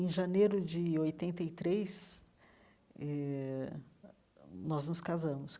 Em janeiro de oitenta e três eh, nós nos casamos.